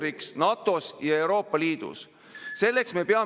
Aga ühiskonna toimimist kahjustab see, kui me näitame riigikaitset riigi ainsa mõttena.